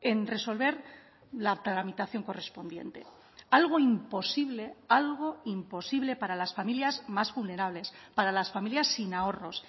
en resolver la tramitación correspondiente algo imposible algo imposible para las familias más vulnerables para las familias sin ahorros